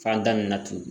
Fan da min na tugun